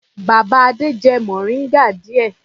Bàbá Adé jẹ mòríngà díẹ̀.